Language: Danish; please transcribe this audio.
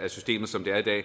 af systemet som det er i dag